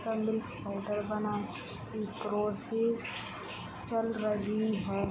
सब milk powder बना groceries चल रही है।